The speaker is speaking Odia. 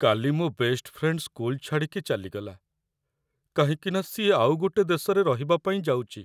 କାଲି ମୋ' ବେଷ୍ଟ ଫ୍ରେଣ୍ଡ୍ ସ୍କୁଲ୍ ଛାଡ଼ିକି ଚାଲିଗଲା, କାହିଁକିନା ସିଏ ଆଉ ଗୋଟେ ଦେଶରେ ରହିବା ପାଇଁ ଯାଉଚି ।